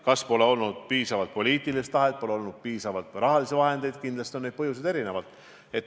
Kas pole olnud piisavalt poliitilist tahet või pole olnud piisavalt raha – kindlasti on põhjused erinevad.